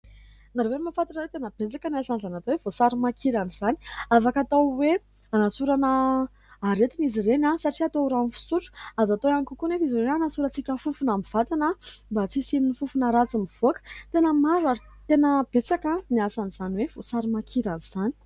Ianareo ve mahafantatra hoe tena betsaka ny asan'izany atao hoe voasary makirana izany ? Afaka atao hoe hanasorana aretina izy ireny satria atao ohatran'ny rano fisotro, azo atao ihany kokoa anefa izy ireny hanasorantsika fofona amin'ny vatana mba tsy hisian'ny fofona ratsy mivoaka. Tena maro ary tena betsaka ny asan'izany hoe voasary makirana izany.